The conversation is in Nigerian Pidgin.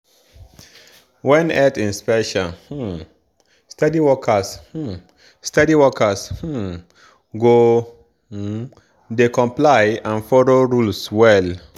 when health inspection um steady workers um steady workers um go um dey comply and follow rules well.